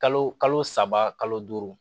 Kalo kalo saba kalo duuru